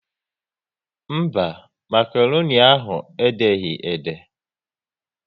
Mba, makroni ahụ e deghị ede?